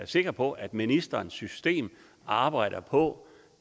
sikker på at ministerens system arbejder på